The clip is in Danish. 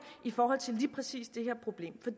i forhold til lige præcis det her problem